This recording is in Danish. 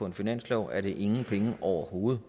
en finanslov er det ingen penge overhovedet